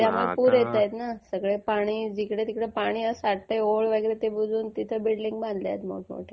त्यामुळे पुर येतायत ना. जिकडे तिकडे ओहोळ होते ते बुजवून तिकडे बिल्डिंग बांधतात.